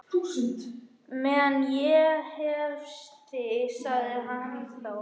Meðan ég hef þig sagði hann þá.